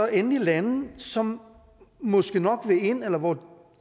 endelig lande som måske nok vil ind eller hvor